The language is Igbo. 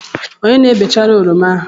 Onye na-bechara oroma ahụ?